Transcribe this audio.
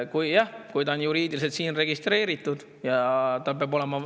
Jah, kui ta on juriidiliselt siin registreeritud, tal peab olema …